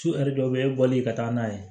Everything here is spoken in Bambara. Sufɛ dɔw bɛ e bɔlen ka taa n'a ye